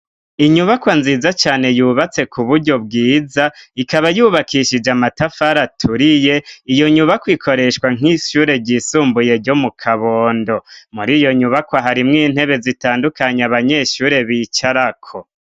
Inyubako nziza cane yubatse ku buryo bwiza, ikaba yubakishije amatafari aturiye; iyo nyubakwa ikoreshwa nk'ishure ryisumbuye ryo mu Kabondo. Muri iyo nyubakwa harimwo intebe zitandukanye abanyeshure bicarako.